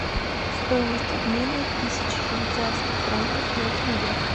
стоимость обмена тысячи швейцарских франков на тенге